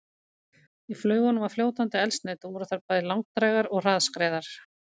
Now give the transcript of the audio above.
Í flaugunum var fljótandi eldsneyti og voru þær bæði langdrægar og hraðskreiðar.